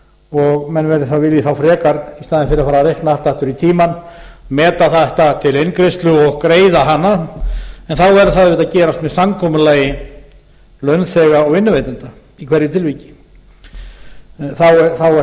og menn vilji þá frekar í staðinn fyrir að fara að reikna allt aftur í tímann meta þetta til eingreiðslu og greiða hana en þá verður það auðvitað að gerast með samkomulagi launþega og vinnuveitenda í hverju tilviki þá er